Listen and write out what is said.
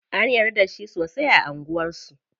An yarda da shi sosai a anguwan su.